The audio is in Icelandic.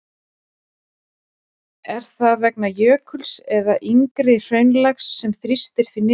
Er það vegna jökuls eða yngra hraunlags sem þrýstir því niður?